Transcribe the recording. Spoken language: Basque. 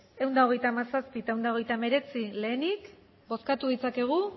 ehun eta hogeita hamazazpi eta ehun eta hogeita hemeretzi lehenik bozkatu ditzakegu